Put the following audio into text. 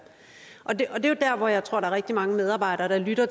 og jeg tror er rigtig mange medarbejdere der lytter